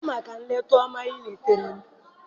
Daalụ maka nleta ọma oletara m.